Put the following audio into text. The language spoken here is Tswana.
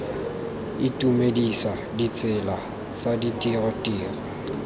itumedisa ditsela tsa ditiro tiro